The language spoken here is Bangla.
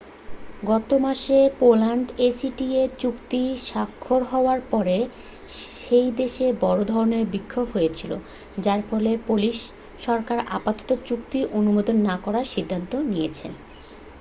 গত মাসে পোল্যান্ডে acta চুক্তি স্বাক্ষর হওয়ার পরে সে দেশে বড় ধরনের বিক্ষোভ হয়েছিল যার ফলে পোলিশ সরকার আপাতত চুক্তিটি অনুমোদন না করার সিদ্ধান্ত নিয়েছে।